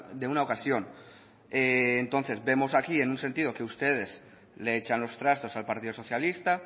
de una ocasión entonces vemos aquí en un sentido que ustedes le echan los trastos al partido socialista